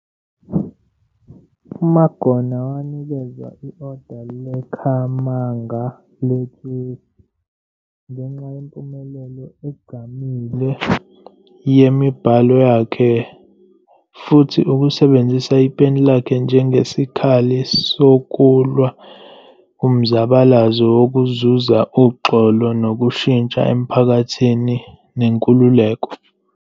UMagona wanikezwa i-Order leKhamanga, lethusi, ngenxa yempumelelo egqamile yemibhalo yakhe, futhi ukusebenzisa ipeni lakhe njengesikhali sokulwa kumzabalazo wokuzuza uxolo, nokushintsha emphakathini, nenkukuleko.